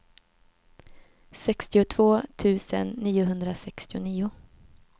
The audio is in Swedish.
sextiotvå tusen niohundrasextionio